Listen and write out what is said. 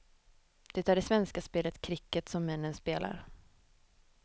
Det är det svenska spelet kricket som männen spelar.